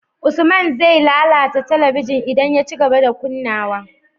Usman ze lalata talabigin idan ya cigaba da kunnawa